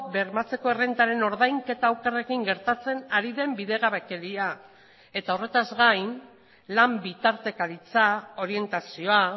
bermatzeko errentaren ordainketa okerrekin gertatzen ari den bidegabekeria eta horretaz gain lan bitartekaritza orientazioa